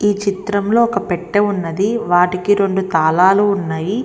చిత్రంలోని ఒక పెట్టే ఉన్నది వాటికి రెండు తాళాలు ఉన్నాయి.